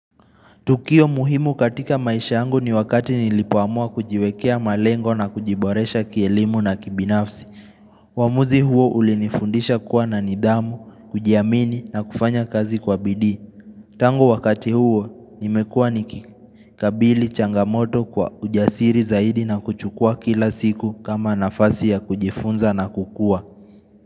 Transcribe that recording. Tukio muhimu katika maisha yangu ni wakati nilipoamua kujiwekea malengo na kujiboresha kielimu na kibinafsi. Uamuzi huo ulinifundisha kuwa na nidhamu, kujiamini na kufanya kazi kwa bidii. Tangu wakati huo nimekua nikikabili changamoto kwa ujasiri zaidi na kuchukua kila siku kama nafasi ya kujifunza na kukua.